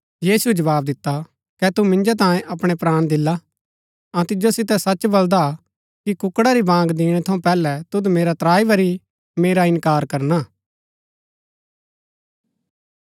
यीशुऐ जवाव दिता कै तू मिन्जो तांयें अपणै प्राण दिला अऊँ तिजो सितै सच बलदा कि कुक्कड़ा री बाँग दिणै थऊँ पैहलै तुद मेरा त्राई बरी मेरा इन्कार करना